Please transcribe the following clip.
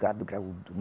Gado graúdo.